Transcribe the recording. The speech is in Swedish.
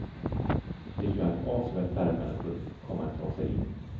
Det gör att avsevärt färre människor kommer att ta sig in.